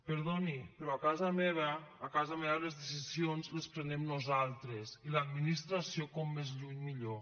perdoni però a casa meva les decisions les prenem nosaltres i l’administració com més lluny millor